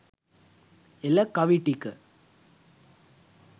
එල කවි ටික